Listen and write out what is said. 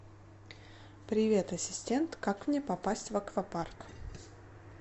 привет ассистент как мне попасть в аквапарк